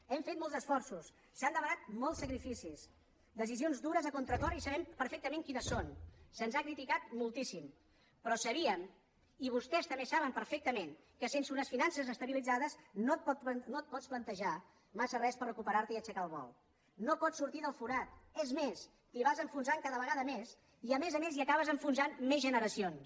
hem fet molts esforços s’han demanat molts sacrificis decisions dures a contracor i sabem perfectament quines són se’ns ha criticat moltíssim però sabíem i vostès també saben perfectament que sense unes finances estabilitzades no et pots plantejar massa res per recuperarte i aixecar el vol no pots sortir del forat és més t’hi vas enfonsant cada vegada més i a més a més hi acabes enfonsant més generacions